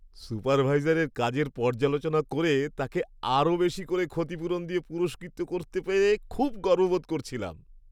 সুপারভাইজারের কাজের পর্যালোচনা করে তাঁকে আরও বেশি করে ক্ষতিপূরণ দিয়ে পুরস্কৃত করতে পেরে খুব গর্ব বোধ করছিলাম।